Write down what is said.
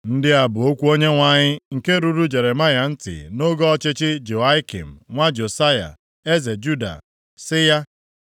Ndị a bụ okwu Onyenwe anyị nke ruru Jeremaya ntị nʼoge ọchịchị Jehoiakim nwa Josaya eze Juda sị ya,